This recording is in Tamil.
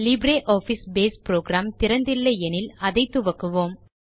லிப்ரியாஃபிஸ் பேஸ் புரோகிராம் திறந்து இல்லை எனில் அதை துவக்குவோம்